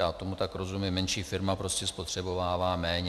Já tomu tak rozumím, menší firma prostě spotřebovává méně.